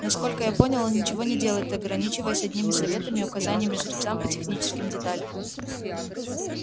насколько я понял он ничего не делает ограничиваясь одними советами и указаниями жрецам по техническим деталям